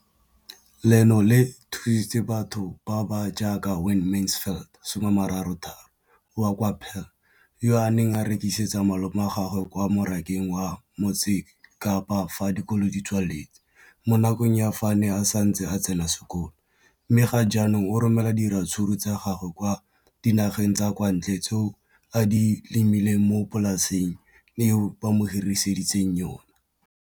Leno le thusitse batho ba ba jaaka Wayne Mansfield, 33, wa kwa Paarl, yo a neng a rekisetsa malomagwe kwa Marakeng wa Motsekapa fa dikolo di tswaletse, mo nakong ya fa a ne a santse a tsena sekolo, mme ga jaanong o romela diratsuru tsa gagwe kwa dinageng tsa kwa ntle tseo a di lemileng mo polaseng eo ba mo hiriseditseng yona.